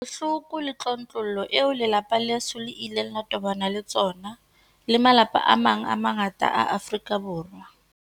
Ke bohloko le tlontlollo eo lelapa leso le ileng la tobana le tsona, le malapa a mang a mangata a Afrika Borwa.